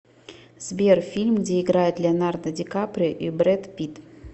сбер фильм где играет леонардо ди каприо и бред питт